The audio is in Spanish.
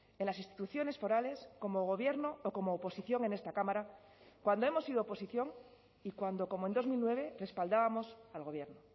en las instituciones forales como gobierno o como oposición en esta cámara cuando hemos sido oposición y cuando como en dos mil nueve respaldábamos al gobierno